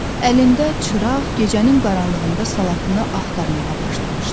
Əlində çıraq gecənin qaranlığında salatını axtarmağa başlamışdı.